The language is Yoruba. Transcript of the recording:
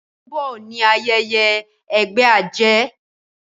ọsẹ to n bó ní ayẹyẹ ègbé ajé